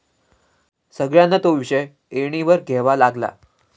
सगळ्यांना तो विषय ऐरणीवर घ्यावा लागला.